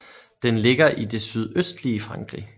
Den ligger i det sydøstlige Frankrig